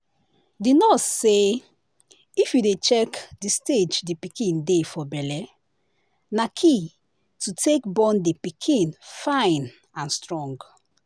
the nurse say if you dey check the stage the pikin dey for belle na key to take born the pikin fine and strong